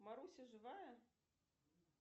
маруся живая